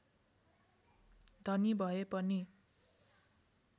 धनी भए पनि